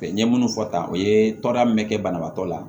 n ye munnu fɔ tan o ye tɔrɔda min bɛ kɛ banabaatɔ la